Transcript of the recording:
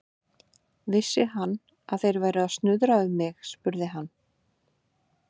Vissi hann, að þeir væru að snuðra um mig? spurði hann.